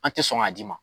An tɛ sɔn k'a d'i ma